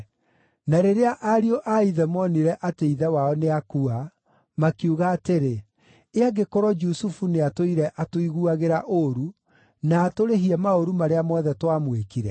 Na rĩrĩa ariũ a ithe moonire atĩ ithe wao nĩakua, makiuga atĩrĩ, “Ĩ angĩkorwo Jusufu nĩatũũire atũiguagĩra ũũru, na atũrĩhie maũru marĩa mothe twamwĩkire?”